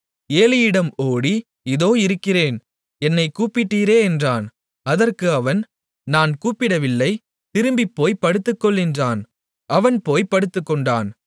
ஏலியினிடம் ஓடி இதோ இருக்கிறேன் என்னைக் கூப்பிட்டீரே என்றான் அதற்கு அவன் நான் கூப்பிடவில்லை திரும்பிப்போய்ப் படுத்துக்கொள் என்றான் அவன் போய்ப் படுத்துக்கொண்டான்